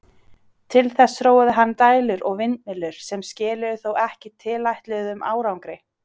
Til þess þróaði hann dælur og vindmyllur, sem skiluðu þó ekki tilætluðum árangri.